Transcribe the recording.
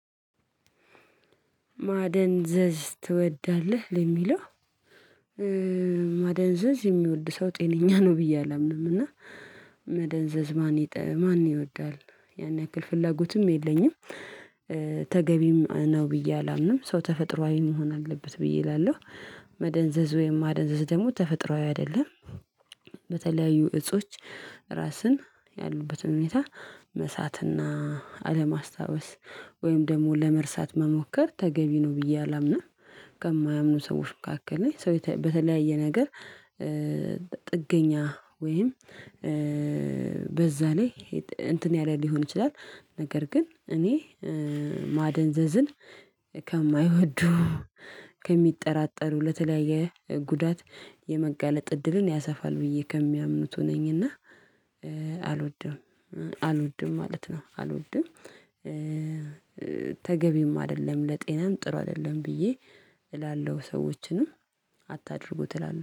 ማደንዘዝ ትወዳለህ? ለሚለው ማደንዘዝ የሚወድ ሰው ጤነኛ ነው ብዬ አላምንም እና፣ መደንዘዝ ማን ማን ይወዳል ያን ያክል ፍላጎትም የለኝም፣ ተገቢም ነው ብዬ አላምንም፣ ሰው ተፈጥሮአዊ መሆን አለበት ብዬ እላለሁ። መደንዘዝ ወይም ማደንዘዝ ደግሞ ተፈጥሮአዊ አይደለም። በተለያዩ እጾች ራስን ያሉበትን ሁኔታ መሳትና አለማስታወስ ወይም ደግሞ ለመርሳት መሞከር ተገቢ ነው ብዬ አላምንም። ከማያምኑ ሰዎች መካከል ላይ ሰው በተለያየ ነገር ጥገኛ ወይም በዛ ላይ እንትን ያለ ሊሆን ይችላል፣ ነገር ግን እኔ ማደንዘዝን ከማይወዱ ከሚጠራጠሩ ለተለያየ ጉዳት የመጋለጥ እድልን ያሰፋል ብዬ ከሚያምኑት ሆነኝና፣ አልወድም፣ አልወድም ማለት ነው። አልወድም ተገቢም አይደለም ለጤናም ጥሩ አይደለም ብዬ፣ እላለሁ ሰዎችንም አታድርጉ ትላለህ።